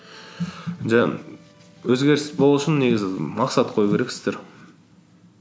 жаңғы өзгеріс болу үшін негізі мақсат қою керексіздер